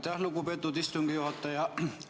Aitäh, lugupeetud istungi juhataja!